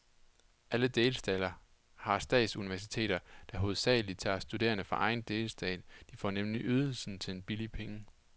Alle delstater har statsuniversiteter, der hovedsagelig tager studerende fra egen delstat, de får nemlig ydelsen til en billig penge.